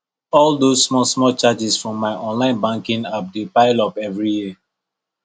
all those smallsmall charges from my online banking app dey pile up every year